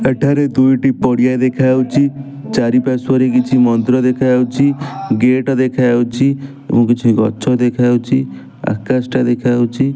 ଏଠାରେ ଦୁଇ ଟି ପଡ଼ିଆ ଦେଖାଯାଉଛି। ଚାରି ପାର୍ଶ୍ୱ ରେ କିଛି ମନ୍ଦିର ଦେଖାଯାଉଛି। ଗେଟ ଦେଖାଯାଉଛି। ଆଉ କିଛି ଗଛ ଦେଖାଯାଉଛି। ଆକାଶ ଟା ଦେଖାଯାଉଛି।